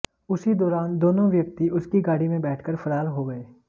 उसी दौरान दोनों व्यक्ति उसकी गाड़ी में बैठकर फरार हो गए